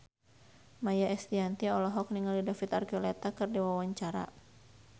Maia Estianty olohok ningali David Archuletta keur diwawancara